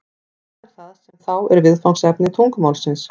hvað er það sem þá er viðfangsefni tungumálsins